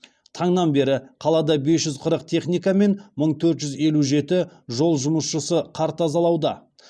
таңнан бері қалада бес жүз қырық техника мен мың төрт жүз елу жеті жол жұмысшысы қар тазалауда